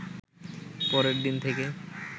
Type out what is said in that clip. পরের দিন থেকে